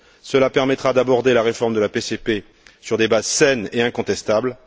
Cela permettra d'aborder la réforme de la PCP sur des bases saines et incontestables.